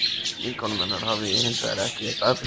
Vinkonum hennar hafði ég hins vegar ekki veitt athygli.